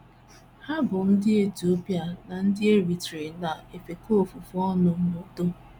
Ha bụ́ ndị Etiopia na ndị Eritrea na - efekọ ofufe ọnụ n’udo